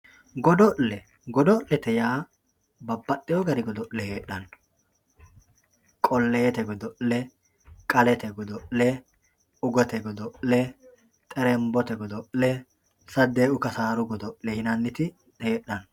godo'le godo'lete yaa babbaxxewoo dani godo'le heedhanno qolleete godo'le qalete godo'le ugete godo'le xernbote godo'le saddeequ kasaaru godo'le yinanniti heedhanno.